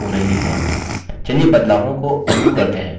चलिए बदलावों को अन्डू करते हैं